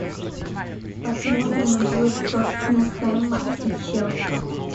посмотрим игру тоттенхэма и челси